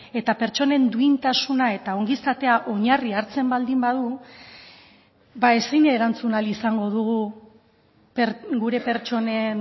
eta pertsonen duintasuna eta ongizatea oinarri hartzen baldin badu ba ezin erantzun ahal izango dugu gure pertsonen